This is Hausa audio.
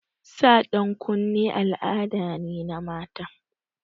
Sa ɗan kunne al'ada ne na mata.